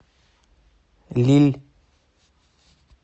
лилль